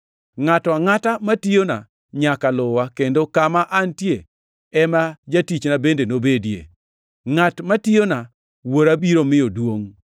Ngʼato angʼata matiyona nyaka luwa, kendo kama antie ema jatichna bende nobedie. Ngʼat matiyona Wuora biro miyo duongʼ.